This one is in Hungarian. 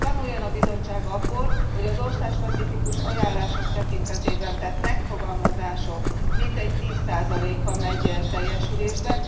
Tanuljon a Bizottság abból, hogy az országspecifikus ajánlások tekintetében tett megfogalmazások mintegy 10 a megy teljesülésbe.